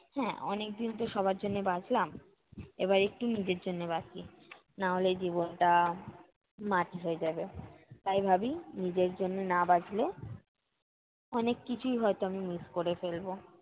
হ্যাঁ অনেকদিন তো সবার জন্য বাঁচলাম এবার একটু নিজের জন্যে বাঁচি। নাহলে এই জীবনটা মাটি হয়ে যাবে। তাই ভাবি নিজের জন্য না বাঁচলে, অনেক কিছুই হয়ত আমি miss করে ফেলবো।